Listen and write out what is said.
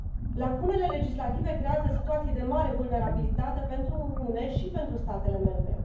Lacunele legislative creează situații de mare vulnerabilitate pentru Uniune și pentru statele membre.